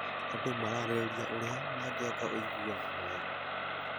Andũ mararĩrĩria ũrĩa mangĩaka ũiguano mwega.